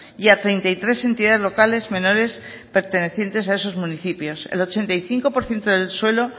y a treinta y tres entidades locales menores pertenecientes a esos municipios el ochenta y cinco por ciento del suelo